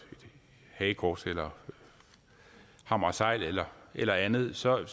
hagekors eller hammer og segl eller eller andet så er